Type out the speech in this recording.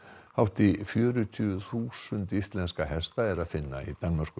hátt í fjörutíu þúsund íslenska hesta er að finna í Danmörku